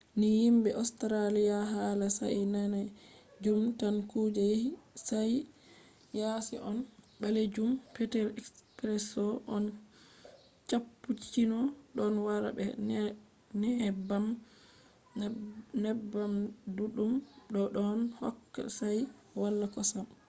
ni yimɓe australia hala shayi danejum tan kuje yaasi on. ɓalejum petel espresso on cappucino ɗon wara be neebbam ɗuɗɗum bo ɗon hokka shayi wala kosam